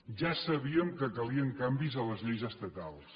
ja sabíem que calien canvis a les lleis estatals